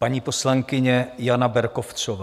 Paní poslankyně Jana Berkovcová.